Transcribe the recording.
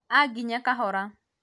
anginye kahora